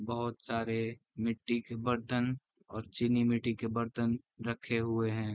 बहोत सारे मिट्टी के बर्तन और चिली मिटी के बर्तन रखे हुए है।